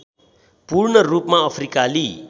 पूर्णरूपमा अफ्रिकाली